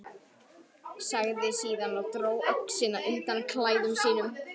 Sagði síðan og dró öxina undan klæðum sínum